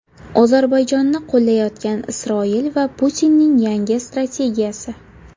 Ozarbayjonni qo‘llayotgan Isroil va Putinning yangi strategiyasi.